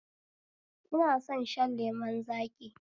Ina son shan lemun zaƙi